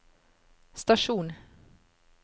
stasjon